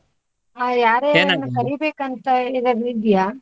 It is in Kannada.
ಹಾ ಯಾರ್ ಯಾರ್ನಾ ಕರಿಬೇಕು ಅಂತ ಏನಾದ್ರೂ ಇದ್ದೀಯಾ?